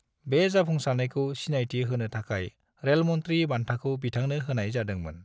बे जाफुंसारनायखौ सिनायथि होनो थाखाय रेल मंत्री बान्थाखौ बिथांनो होनाय जादोंमोन।